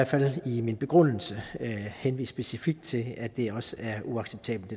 fald i min begrundelse henvist specifikt til at det også er uacceptabelt